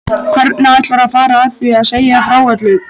Hvernig ætlarðu að fara að því að segja frá öllu?